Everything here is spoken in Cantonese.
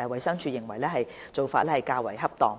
衞生署認為此做法較為恰當。